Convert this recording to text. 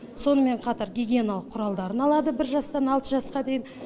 сонымен қатар гигиеналық құралдарын алады бір жастан алты жасқа дейін